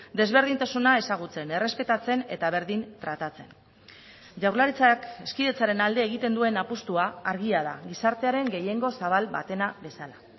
desberdintasuna ezagutzen errespetatzen eta berdin tratatzen jaurlaritzak hezkidetzaren alde egiten duen apustua argia da gizartearen gehiengo zabal batena bezala